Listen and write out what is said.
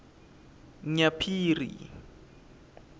nyaphiri